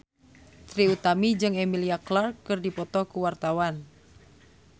Trie Utami jeung Emilia Clarke keur dipoto ku wartawan